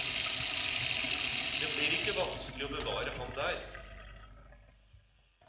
Det blir ikke vanskelig å bevare ham der.